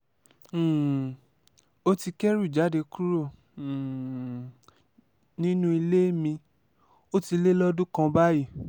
um ó ti kẹ́rù jáde kúrò um nínú ilé mi ó ti lé lọ́dún kan báyìí